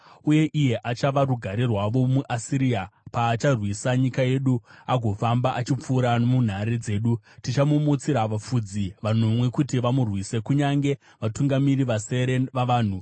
Uye iye achava rugare rwavo. Kudzikinurwa noKuparadzwa MuAsiria paacharwisa nyika yedu agofamba achipfuura nomunhare dzedu, tichamumutsira vafudzi vanomwe kuti vamurwise kunyange vatungamiri vasere vavanhu.